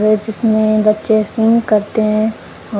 वे जिसमें बच्चे शुरू करते हैं।